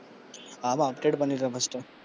ஆமா, update பன்னிரேன் first,